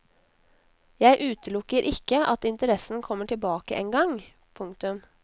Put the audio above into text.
Jeg utelukker ikke at interessen kommer tilbake en gang. punktum